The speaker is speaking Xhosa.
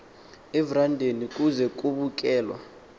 everandeni kuze kubukelwa